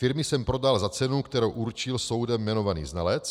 Firmy jsem prodal za cenu, kterou určil soudem jmenovaný znalec.